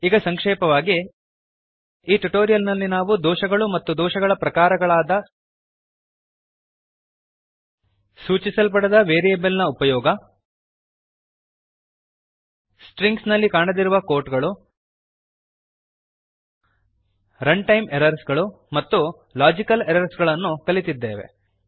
ಈಗ ಸಂಕ್ಷೇಪವಾಗಿ ಈ ಟ್ಯುಟೋರಿಯಲ್ ನಲ್ಲಿ ನಾವು ದೋಷಗಳು ಮತ್ತು ದೋಷಗಳ ಪ್ರಕಾರಗಳಾದ ಸೂಚಿಸಲ್ಪಡದ variableನ ಉಪಯೋಗ ಸ್ಟ್ರಿಂಗ್ಸ್ ನಲ್ಲಿ ಕಾಣದಿರುವ quotesಗಳು ರನ್ಟೈಮ್ ಎರರ್ಸ್ ಮತ್ತು ಲಾಜಿಕಲ್ ಎರರ್ಸ್ ಗಳನ್ನು ಕಲಿತಿದ್ದೇವೆ